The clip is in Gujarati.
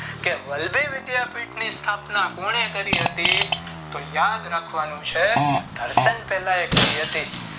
કે વલ્લભી વિધાપીઠ ની સ્થાપના કોને કરી હતી તો યાદ રાખવાનું છે ઘર્ષણે કરી હતી